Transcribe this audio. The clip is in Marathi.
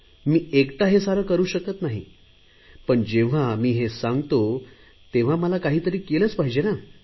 मी एकटा हे सारे करु शकत नाही पण जेव्हा मी सांगतो तेव्हा मला काहीतरी केलेच पाहिजे ना